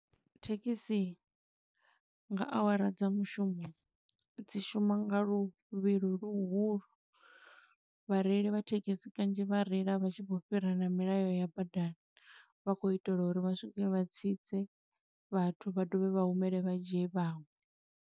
Thekhisi nga awara dza mushumo, dzi shuma nga luvhilo luhulu. Vhareili vha thekhisi kanzhi vha reila vha tshi khou fhira na milayo ya badani, vha khou itela uri vha swike vha tsitse vhathu, vha dovhe vha humele vha dzhie vhaṅwe.